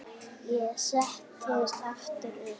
Ég settist aftur upp.